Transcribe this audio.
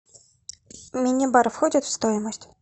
мини бар входит в стоимость